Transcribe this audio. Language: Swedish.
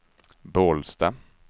Bålsta